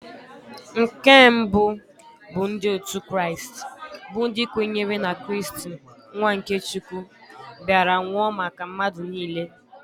Nke mbụ bụ ndị otu Kraịst bụ ndị kwenyere na Kristi nwa nke Chukwu bịara nwụọ maka mmadụ niile.